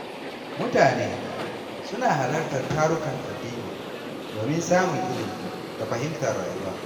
Mutane suna halartar tarukan addini domin samun ilimi da fahimtar rayuwa.